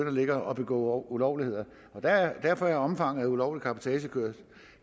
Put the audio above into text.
at ligge og begå ulovligheder derfor er omfanget af ulovlig cabotagekørsel